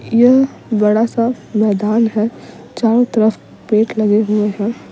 यह बड़ा सा मैदान है चारों तरफ पेड़ लगे हुए हैं।